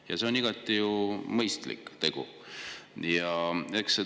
Ja see on igati mõistlik.